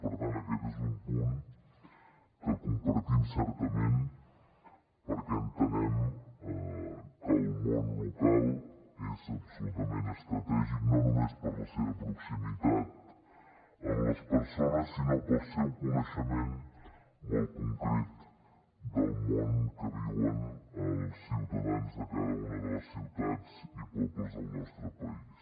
per tant aquest és un punt que compartim certament perquè entenem que el món local és absolutament estratègic no només per la seva proximitat amb les persones sinó pel seu coneixement molt concret del món que viuen els ciutadans de cada una de les ciutats i pobles del nostre país